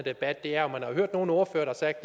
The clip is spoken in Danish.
debat er at man har hørt nogen ordførere der